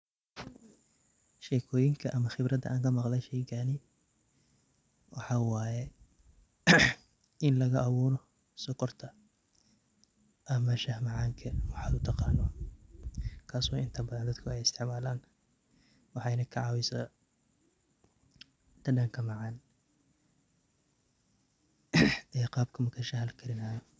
Sheekooyinka ama qibrada aan ka maqlay sheeygaan waxaa waaye in laga abuuro sokorta ama shaax macaanka waxaad utaqaano kasoo inta badan dadka eey isticmaalaan waxeyna ka caawisaa dhadhaanka macaan iyo qaabka marka shaaxa lakarinaayo.